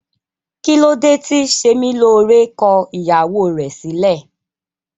Kilode ti Semilore ko ìyàwó rẹ silẹ?